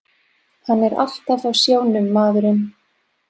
Hann er alltaf á sjónum, maðurinn.